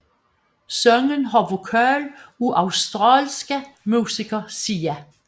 Sangen har vokal af australske musiker Sia